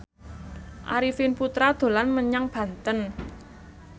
Arifin Putra dolan menyang Banten